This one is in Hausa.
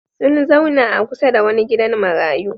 Sun zauna a kusa da wani gidan marayu.